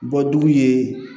Bɔ dugu ye